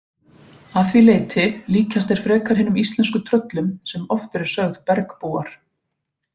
Að því leyti líkjast þeir frekar hinum íslensku tröllum sem oft eru sögð bergbúar.